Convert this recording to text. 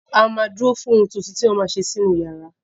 A ma ma dúró fún ohun tuntun tí wọ́n ma ṣe sí inú yàrá